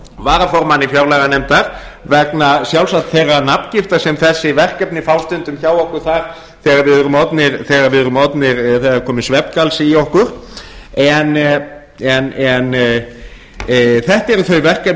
varaformanni fjárlaganefndar vegna sjálfsagt þeirrar nafngiftar sem þessi verkefni fá stundum hjá okkur þar þegar það er kominn svefngalsi í okkur en þetta eru þau verkefni